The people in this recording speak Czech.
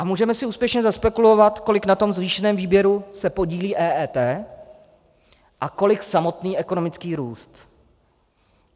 A můžeme si úspěšně zaspekulovat, kolik na tom zvýšeném výběru se podílí EET a kolik samotný ekonomický růst.